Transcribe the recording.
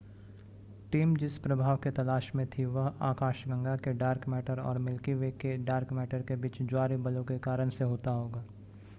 team जिस प्रभाव के तलाश में थी वह आकाशगंगा के डार्क मैटर और मिल्की वे के डार्क मैटर के बीच ज्वारीय बलों के कारण से होता होगा